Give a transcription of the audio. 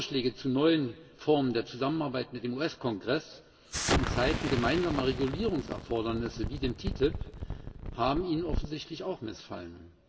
Vorschläge zu neuen Formen der Zusammenarbeit mit dem US Kongress in Zeiten gemeinsamer Regulierungserfordernisse, wie dem TTIP, haben Ihnen offensichtlich auch missfallen.